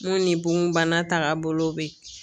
N ko ni bon bana tagabolo bɛ yen